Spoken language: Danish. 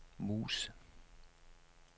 mus